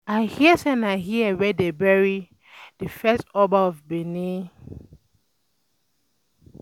I hear say na here wey dey bury the first Oba of Benin